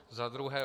Za druhé.